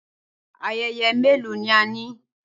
Ayẹyẹ mélòó ni a ní?